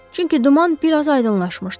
Çünki duman bir az aydınlaşmışdı.